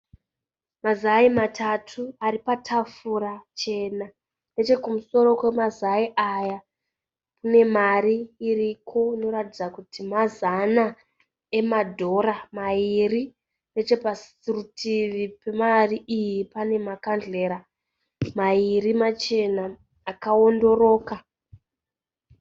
Mazai matatu ari patafura chena. Nechekumusoro kwemazai aya kune mari iriko inoratidza kuti mazana emadhora mairi. Necheparutivi pemari iyi pane makandhlera mairi machena akawondoroka.